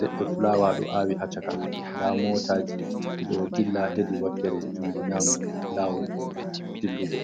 leɗɗe fulawa ɗo awi hacchaka nda motaji dido dilla hedi wakkere jungo nyamo lawol dillugo